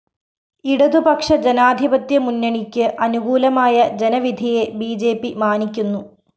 ഇടതു പക്ഷജനാധിപത്യ മുന്നണിയ്ക്ക് അനുകൂലമായ ജനവിധിയെ ബി ജെ പി മാനിക്കുന്നു